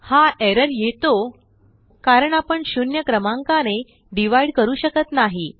हा एरर येतो कारण आपण शुन्य क्रमांकानेdivideकरू शकत नाही